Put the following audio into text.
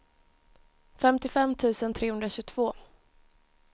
femtiofem tusen trehundratjugotvå